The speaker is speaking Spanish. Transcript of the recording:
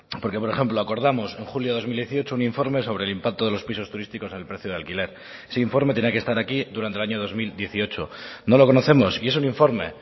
porque por ejemplo acordamos en julio de dos mil dieciocho un informe sobre el impacto de los pisos turísticos en el precio de alquiler ese informe tenía que estar aquí durante el año dos mil dieciocho no lo conocemos y es un informe